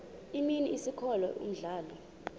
imini isikolo umdlalo